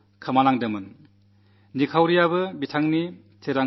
തങ്കവേലുവിന് കേവലം അഞ്ചാംവയസ്സിലാണ് വലതുകാൽ നഷ്ടപ്പെട്ടത്